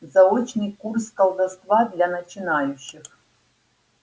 заочный курс колдовства для начинающих